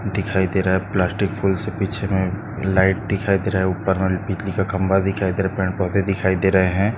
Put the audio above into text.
दिखाई दे रहा है प्लास्टिक फूलस पीछे मे लाइट दिखाई दे रहा है ऊपर मे बिजली का खंबा दिखाई दे रहा है पेड़ पौधे दिखाई दे रहे है।